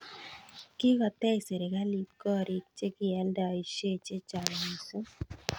kikotech sirikalit koriik chekialdaishe chechang mising